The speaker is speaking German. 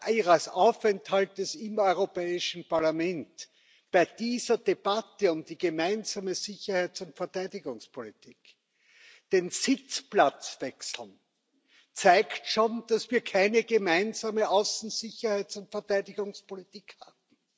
Ihres Aufenthalts im Europäischen Parlament bei dieser Debatte um die Gemeinsame Sicherheits und Verteidigungspolitik den Sitzplatz wechseln, zeigt schon, dass wir keine gemeinsame Außen Sicherheits und Verteidigungspolitik haben.